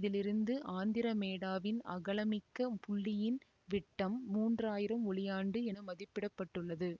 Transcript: இதில் இருந்து ஆந்திரமேடாவின் அகலமிக்க புள்ளியின் விட்டம் மூன்றாயிரம் ஒளியாண்டு என மதிப்பிட பட்டுள்ளது